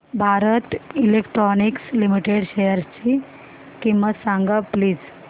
Bharat electronics limited शेअरची किंमत सांगा प्लीज